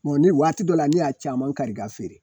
Mɔni waati dɔ la ne y'a caman kari k'a feere